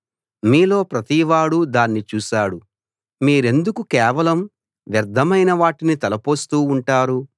మీలో ప్రతివాడూ దాన్ని చూశాడు మీరెందుకు కేవలం వ్యర్థమైన వాటిని తలపోస్తూ ఉంటారు